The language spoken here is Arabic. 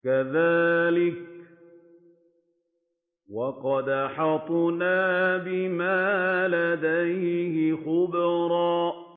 كَذَٰلِكَ وَقَدْ أَحَطْنَا بِمَا لَدَيْهِ خُبْرًا